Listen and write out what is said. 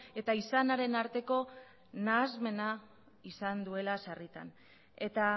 eta izanaren arteko nahasmena izan duela sarritan eta